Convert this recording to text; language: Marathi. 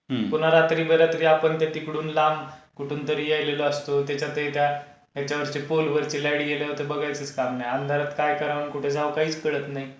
पुन्हा रात्री बे रात्री आपण ते तिकडून लांब कुठून तरी यायलेलो असतो. त्याच्यात ते त्या येच्यावरचे काय पोलवरचे लाईट गेल्यावर तर काही बघायचं काम नाही अंधारात काय करावं आणि कुठे जावं काहीच कळत नाही.